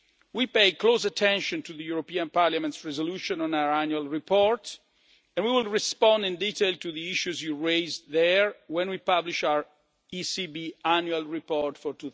We pay close attention to Parliament's resolution on our annual report, and we will respond in detail to the issues you raise there when we publish our ECB Annual Report